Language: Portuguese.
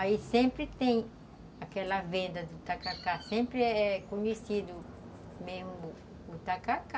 Aí sempre tem aquela venda do tacacá, sempre é conhecido mesmo o tacacá.